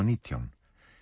nítján